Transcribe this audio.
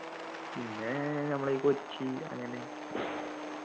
പിന്നെ നമ്മളെ ഈ കൊച്ചി അങ്ങനെ